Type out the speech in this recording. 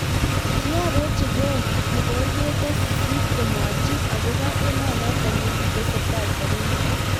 Kiarochi Koo kipororkete sisit komwachin akopoo emonotok yekitesetai sarunet